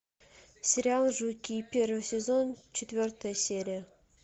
сериал жуки первый сезон четвертая серия